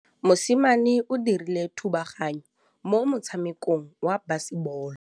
Mosimane o dirile thubaganyô mo motshamekong wa basebôlô.